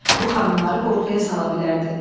Bu xanımları qorxuya sala bilərdi.